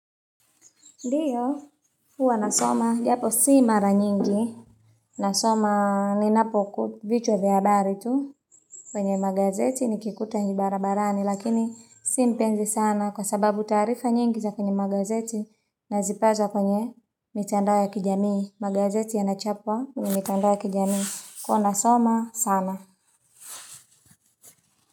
Ndiyo. Huwa na soma, japo si mara nyingi, nasoma ninapoku vichwa vya habari tu, kwenye magazeti nikikuta ni barabarani, lakini si mpenzi sana kwa sababu tarifa nyingi za kwenye magazeti, nazipaza kwenye mitandao ya kijamii, magazeti yanachapwa kwenye mitandao ya kijamii. Huwa nasoma, sana.